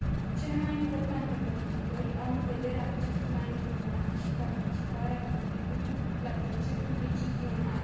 Cele mai importante modificări au în vedere accesul la informații și participarea publicului la procesul decizional.